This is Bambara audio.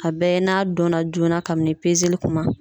A bɛɛ n'a dɔnna joona kabini li kuma